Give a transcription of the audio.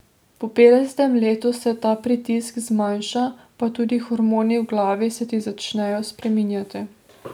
Po petdesetem letu se ta pritisk zmanjša, pa tudi hormoni v glavi se ti začnejo spreminjati ...